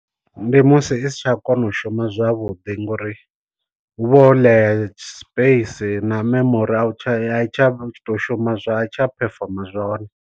Ndi musi i si tsha kona u shuma zwavhuḓi ngori hu vha ho ḽea space na memorial tsha ai tsha tou shuma zwa ai tsha perform zwone.